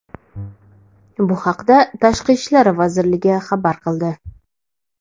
Bu haqda Tashqi ishlar vazirligi xabar qildi .